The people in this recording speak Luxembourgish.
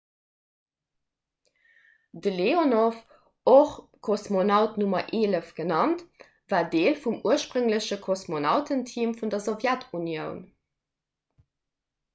de leonov och kosmonaut nr 11 genannt war deel vum urspréngleche kosmonautenteam vun der sowjetunioun